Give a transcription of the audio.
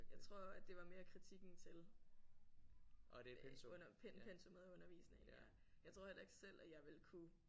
Jeg tror at det var mere kritikken til pen pensummet og undervisningen ja. Jeg tror heller ikke selv at jeg ville kunne